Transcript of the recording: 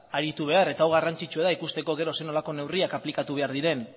aritu behar eta hau garrantzitsua da ikusteko gero zer nolako neurriak aplikatu behar diren